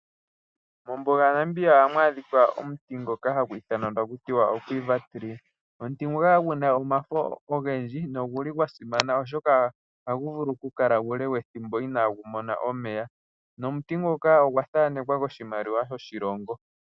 Mombuga yaNamibia oha mu adhika omuti ngoka hagu ithanwa taku tiwa oQuiva tree omuti nguka kagu na omafo ogendji nogu li gwa simana oshoka ohagu vulu okukala uule wethimbo ina gu mona omeya nomuti ngoka ogwa thanekwa koshimaliwa shoshilongo.